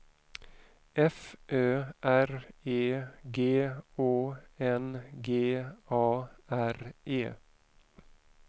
F Ö R E G Å N G A R E